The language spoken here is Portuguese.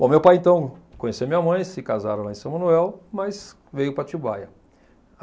Bom, meu pai, então, conheceu minha mãe, se casaram lá em São Manuel, mas veio para a Atibaia.